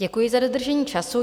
Děkuji za dodržení času.